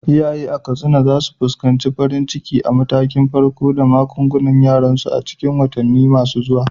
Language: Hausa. Iyaye a Katsina za su fuskanci farin cikin matakan farko da maganganun jariransu a cikin watanni masu zuwa.